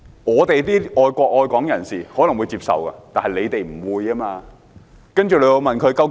"我們愛國愛港人士可能會接受這解釋，但反對派卻不會。